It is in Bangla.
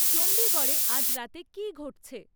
চন্ডীগড়ে আজ রাতে কী ঘটছে?